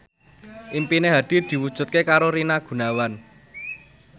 impine Hadi diwujudke karo Rina Gunawan